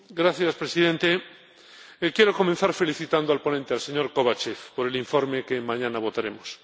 Señor Presidente, quiero comenzar felicitando al ponente, al señor Kovatchev, por el informe que mañana votaremos.